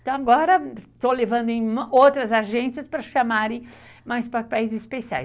Então agora estou levando em outras agências para chamarem mais papéis especiais.